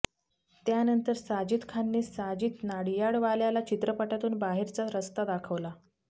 त्यानंतर साजिद खानने साजिद नडियाडवाल्याला चित्रपटातून बाहेरचा रस्ता दाखवला